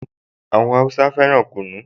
Àwọn Háúsá fẹ́ràn kunu